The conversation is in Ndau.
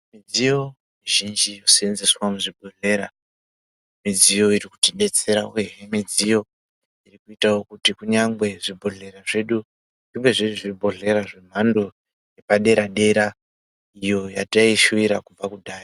Midziyo mizhinji yoseenzeswa muzvibhedhlera, midziyo iri kutibetsera wee midziyo iri kuita kuti nyangwe zvibhodhlera zvedu zvive zvibhodhlera zvemhando yepadera dera iyoo yatai shuwira kubva kudhaya.